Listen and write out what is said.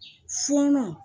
Funun